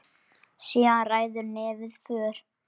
Síðan ræður nefið för.